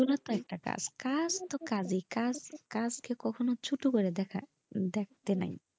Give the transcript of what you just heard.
ওগুলাও তো একটা কাজ কাজ তো কাজই কাজ ক কখনো ছোট করে দেখতে নাই।